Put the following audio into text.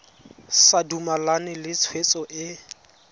sa dumalane le tshwetso e